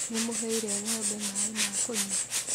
Nĩ mũheire ng'ombe maĩ ma kũnyua?